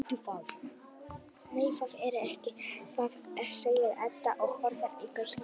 Nei, það er ekki það, segir Edda og horfir í gaupnir sér.